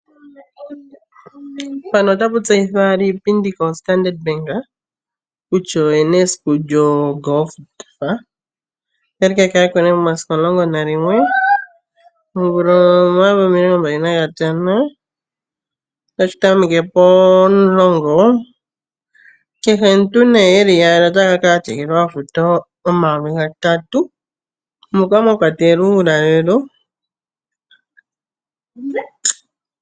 Mpano otapu tseyithwa owala iipindi koStandard Bank kutya oyena esiku lyoGolf. Otali kakalako nee momasiku omulongo nayimwe omvula omayovi omilongo mbali nagatano. Otashi tameke pomulongo. Kehe omuntu nee yeli yaali otaya kala ya tegelelwa yafute omayovi gatatu moka mwakwatelwa uulalelo.